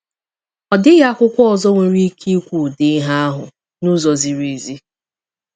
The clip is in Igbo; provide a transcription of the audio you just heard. Ọ dịghị akwụkwọ ọzọ nwere ike ikwu ụdị ihe ahụ n'ụzọ ziri ezi.